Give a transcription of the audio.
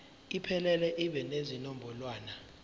iphelele ibe nezinombolwana